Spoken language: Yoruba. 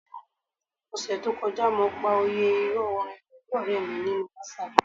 Ọ̀sẹẹ̀ẹ́ to kọjá, mo pa òyẹ́ ìrọ̀ orin pẹ̀lú ọ̀rẹ̀ mi nínú WhatsApp.